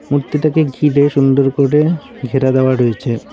মূর্তিটাকে ঘিরে সুন্দর করে ঘেরা দেওয়া রয়েছে।